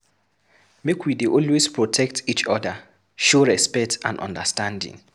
Make we dey always protect each oda, show respect and understanding.